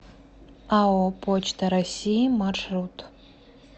ао почта россии маршрут